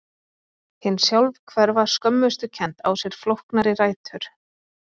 Hin sjálfhverfa skömmustukennd á sér flóknari rætur.